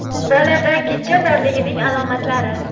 Bolada gijja borligining alomatlari.